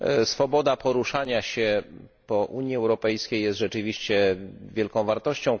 Swoboda poruszania się po Unii Europejskiej jest rzeczywiście wielką wartością.